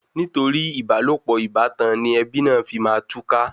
Nítorí ìbálòpọ̀ ìbátan ni ẹbí náà fi máa túká.